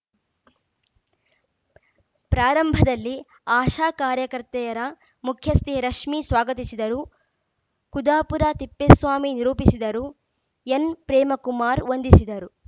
ಪ್ರಾರಂಭದಲ್ಲಿ ಆಶಾ ಕಾರ್ಯಕರ್ತೆಯರ ಮುಖ್ಯಸ್ಥೆ ರಶ್ಮಿ ಸ್ವಾಗತಿಸಿದರು ಕುದಾಪುರ ತಿಪ್ಪೇಸ್ವಾಮಿ ನಿರೂಪಿಸಿದರು ಎನ್‌ಪ್ರೇಮಕುಮಾರ್‌ ವಂದಿಸಿದರು